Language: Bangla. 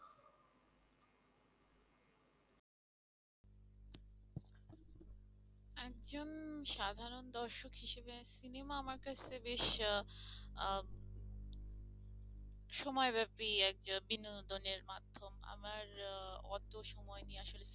একজন সাধারণ দর্শক হিসেবে সিনেমা আমার কাছে বেশি আহ সময়ব্যাপী একটা বিনোদনের মাধ্যম আমার অত সময় নেই আসলে